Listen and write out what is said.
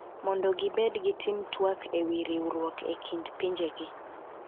mondo gibed gitim tuak e wi riwruok e kind pinjegi,